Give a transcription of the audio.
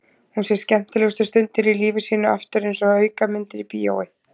Hún sér skemmtilegustu stundirnar í lífi sínu aftur einsog aukamyndir í bíói.